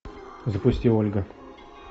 запусти ольга